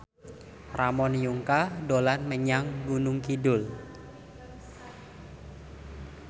Ramon Yungka dolan menyang Gunung Kidul